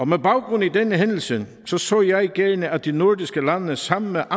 med baggrund i denne hændelse så så jeg gerne at de nordiske lande sammen